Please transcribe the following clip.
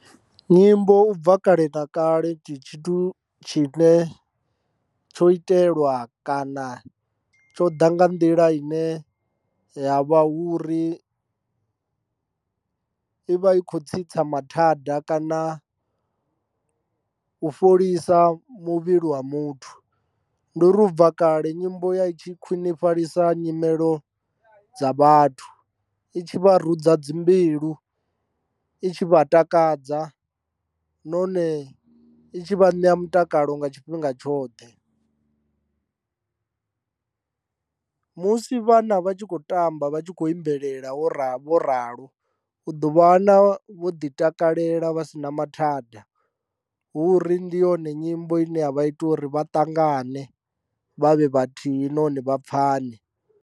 Nyimbo u bva kale na kale ndi tshithu tshine tsho itelwa kana tsho ḓa nga nḓila ine ya vha hu uri i vha i khou tsitsa mathada kana u fholisa muvhili wa muthu ndi uri u bva kale nyimbo ya i tshi khwinifhalisa nyimelo dza vhathu i tshi vha rudza dzi mbilu i tshi vha takadza, nahone itshi vha na mutakalo nga tshifhinga tshoṱhe musi vhana vha tshi kho tamba vha tshi kho imbelela vho ralo u ḓo vha wana vho ḓi takalela vha si na mathada hu uri ndi yone nyimbo ine ya vha ita uri vha ṱangane vha vhe vhathihi nahone vha pfhane.